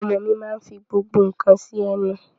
Ọmọ mi máa nfi gbogbo nka si ẹnu